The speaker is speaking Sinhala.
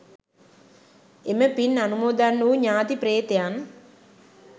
එම පින් අනුමෝදන් වූ ඥාති ප්‍රේතයන්